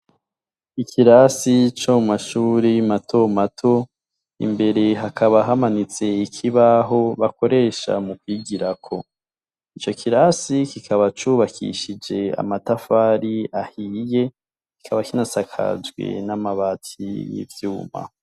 Ikirasi co mashuri mato mato imbere hakaba hamanitse ikibaho bakoresha mu kwigira ko icyo kirasi kikaba cubakishij amatafari ahiye kikaba kinasakajwe n'amabati y'ivyuma.